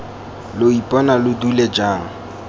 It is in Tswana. lo ipona lo dule jaana